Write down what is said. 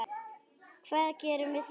Hvað gerum við þá?